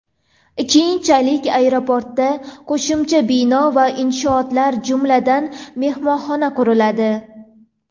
Keyinchalik aeroportda qo‘shimcha bino va inshootlar, jumladan, mehmonxona quriladi.